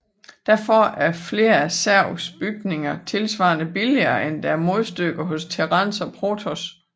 Derfor er flere af zergs bygninger tilsvarende billigere end deres modstykker hos terrans og protoss